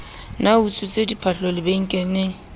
ne a utswitse diphahlo lebenkeleng